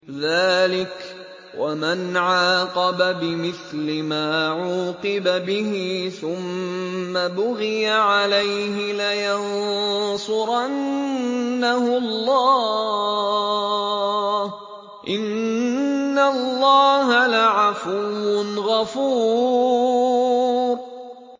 ۞ ذَٰلِكَ وَمَنْ عَاقَبَ بِمِثْلِ مَا عُوقِبَ بِهِ ثُمَّ بُغِيَ عَلَيْهِ لَيَنصُرَنَّهُ اللَّهُ ۗ إِنَّ اللَّهَ لَعَفُوٌّ غَفُورٌ